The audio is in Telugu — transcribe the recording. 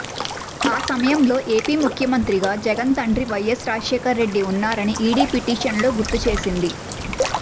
ఆ సమయంలో ఏపీ ముఖ్యమంత్రిగా జగన్ తండ్రి వైయస్ రాజశేఖర్రెడ్డి ఉన్నారని ఈడీ పిటిషన్లో గుర్తుచేసింది